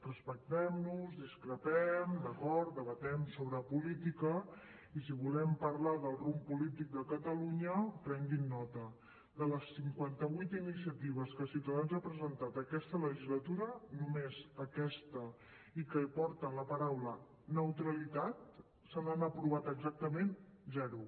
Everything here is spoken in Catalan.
respectem nos discrepem d’acord debatem sobre política i si volem parlar del rumb polític de catalunya prenguin nota de les cinquanta vuit iniciatives que ciutadans ha presentat aquesta legislatura només aquesta i que porten la paraula neutralitat se n’han aprovat exactament zero